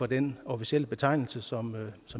den officielle betegnelse som